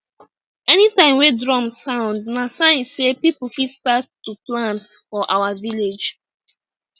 anytime wey drum sound na sign sey people fit start to plant for our village